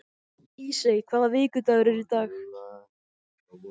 Ísey, hvaða vikudagur er í dag?